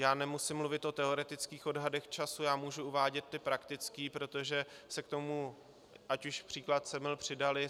Já nemusím mluvit o teoretických odhadech času, já můžu uvádět ty praktické, protože se k tomu, ať už příklad Semil, přidaly.